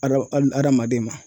Adama hali adamaden ma